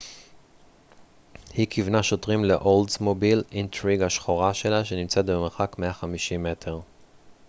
היא כיוונה שוטרים לאולדסמוביל אינטריג השחורה שלה שנמצאה במרחק 150 מטר